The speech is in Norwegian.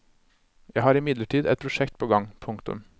Jeg har imidlertid et prosjekt på gang. punktum